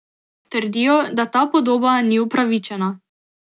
Trdijo, da ta podoba ni upravičena.